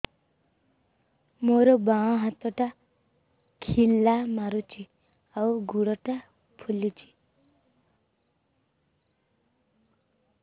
ମୋ ବାଆଁ ହାତଟା ଖିଲା ମାରୁଚି ଆଉ ଗୁଡ଼ ଟା ଫୁଲୁଚି